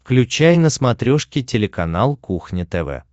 включай на смотрешке телеканал кухня тв